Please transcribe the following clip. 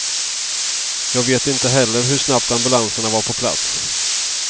Jag vet inte heller hur snabbt ambulanserna var på plats.